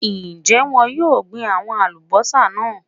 Ń jẹ́ wọn yìí ó gbin àwọn Alubọ́sá náà